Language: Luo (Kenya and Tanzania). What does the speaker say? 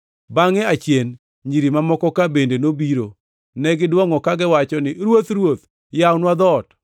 “Bangʼe achien nyiri mamokoka bende nobiro. Ne gidwongʼo kagiwacho ni, ‘Ruoth, Ruoth, yawnwa dhoot!’